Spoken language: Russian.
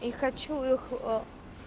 и хочу их а